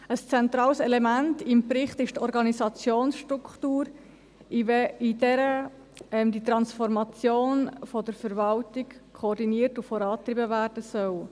Ein zentrales Element im Bericht ist die Organisationsstruktur, in der die Transformation der Verwaltung koordiniert und vorangetrieben werden soll.